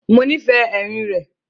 Mọ nífẹ́ èrín rẹ̀.